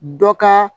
Dɔ ka